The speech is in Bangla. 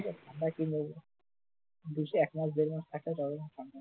ঠাণ্ডা একটু নেব একমাস দেড় মাস থাকতাম তাও ভাবতাম